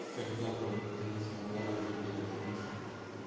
тогда бы ты не смогла бы залететь от миши